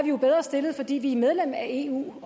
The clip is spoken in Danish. jo bedre stillet fordi vi er medlem af eu